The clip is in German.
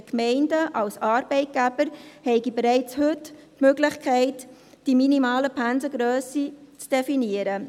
Die Gemeinden als Arbeitgeber hätten bereits heute die Möglichkeit, die minimale Pensengrösse zu definieren.